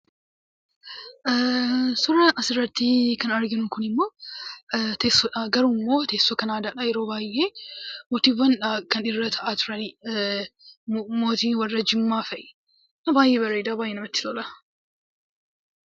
Suura asirratti kan arginu kuni immoo teessoodha; garuu immoo teessoon kan aadaadha. Yeroo baay'ee mootiiwwan kan irra taa'aa jirani, mootii warra Jimmaa fa'i. Baay'ee bareeda! Baay'ee namatti tola!